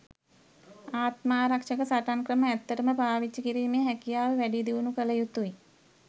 ආත්මාරක්ෂක සටන් ක්‍රම ඇත්තටම පාවිච්චි කිරීමේ හැකියාව වැඩි දියුණු කලයුතුයි.